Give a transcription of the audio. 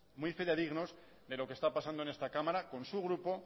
muy fidedignos de lo que está pasando en esta cámara con su grupo